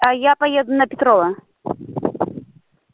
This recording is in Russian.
а я поеду на петрова